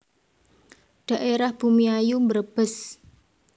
Dhaérah Bumiayu Brebes